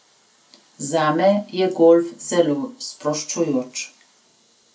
Zame je golf zelo sproščujoč.